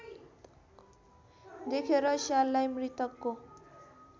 देखेर स्याललाई मृतकको